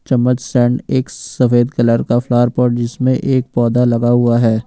चम्मच सेंड एक सफेद कलर का फ्लावर पॉट जिसमें एक पौधा लगा हुआ है।